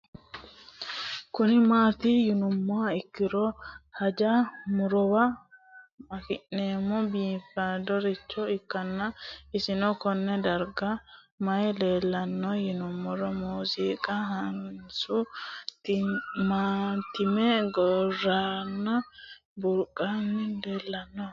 Kuni mati yinumoha ikiro hanja murowa afine'mona bifadoricho ikana isino Kone darga mayi leelanno yinumaro muuze hanannisu timantime gooranna buurtukaane leelitoneha